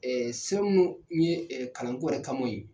se minnu ye kalanko yɛrɛ kamɔ ye.